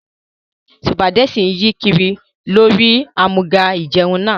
Sùpàgẹ́tì yí kiri lórí àmúga ìjẹun náà